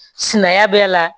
Sinaya bɛ a la